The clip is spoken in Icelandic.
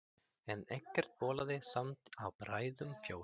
En ekkert bólaði samt á bræðrunum fjórum.